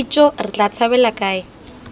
ijoo re tla tshabela kae